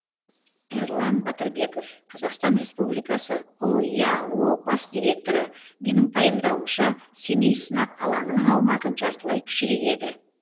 эрлан батырбеков қазақстан республикасы ұяо бас директоры менің пайымдауымша семей сынақ алаңының аумағы жартылай кішірейеді